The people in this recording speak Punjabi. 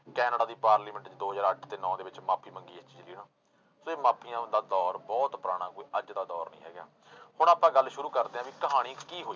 ਕੈਨੇਡਾ ਦੀ parliament ਚ ਦੋ ਹਜ਼ਾਰ ਅੱਠ ਤੇ ਨੋਂ ਦੇ ਵਿੱਚ ਮਾਫ਼ੀ ਮੰਗੀ ਇਸ ਚੀਜ਼ ਲਈ ਤੇ ਮਾਫ਼ੀਆਂ ਦਾ ਦੌਰ ਬਹੁਤ ਪੁਰਾਣਾ ਕੋਈ ਅੱਜ ਦਾ ਦੌਰ ਨੀ ਹੈਗਾ ਹੁਣ ਆਪਾਂ ਗੱਲ ਸ਼ੁਰੂ ਕਰਦੇ ਹਾਂ ਵੀ ਕਹਾਣੀ ਕੀ ਹੋਈ।